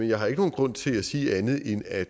jeg har ikke nogen grund til at sige andet end at